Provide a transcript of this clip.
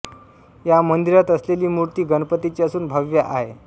या मंदिरात असलेली मूर्ती गणपतीची असून भव्य आहे